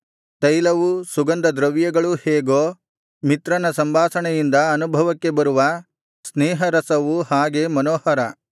ತೈಲವೂ ಸುಗಂಧದ್ರವ್ಯಗಳೂ ಹೇಗೋ ಮಿತ್ರನ ಸಂಭಾಷಣೆಯಿಂದ ಅನುಭವಕ್ಕೆ ಬರುವ ಸ್ನೇಹರಸವು ಹಾಗೆ ಮನೋಹರ